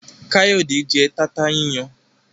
Kayode jé tata yíyan